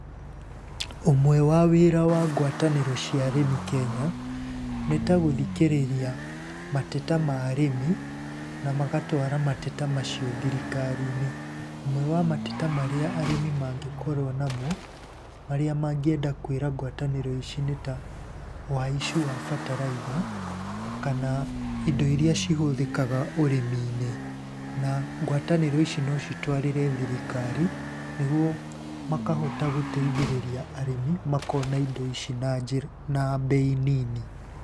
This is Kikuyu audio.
Ũmwe wa wĩra wa ngwatanĩro cia arĩmi Kenya nĩ ta gũthikĩrĩria mateta ma arĩmi, na magatwara mateta macio thirikari-inĩ. Ũmwe wa mateta marĩa arĩmi mangĩkorũo namo marĩa mangĩenda kwĩra ngwatanĩro ici nĩ ta ũhaicu wa bataraitha kana indo ira cihũthĩkaga ũrĩmi-inĩ. Na ngwatanĩro ici no citware thirikari niguo makahota gũteithĩrĩria arĩmi makona indo ici na mbei nini.